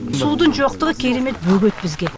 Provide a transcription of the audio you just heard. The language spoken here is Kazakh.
судың жоқтығы керемет бөгет бізге